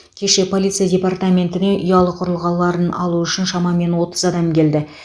кеше полиция департаментіне ұялы құрылғыларын алу үшін шамамен отыз адам келді